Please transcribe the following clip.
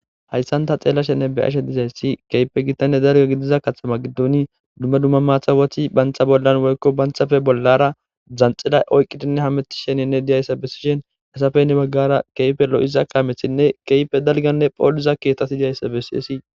hayssanta xeella shenne beyashe dizayssi keype gittane darga gidiza kathama giddoni dumma dumma maathawothi bantha bollan woykko banthafe bollara dzanxida oyqqidinne hameti sheninne diyayssa besishen esafeynne baggara keyfe lo7iza kaamethinne keyfe dalganne phooliza keetati diyayssa besiesi